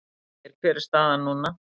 Ægir: Hver er staðan núna?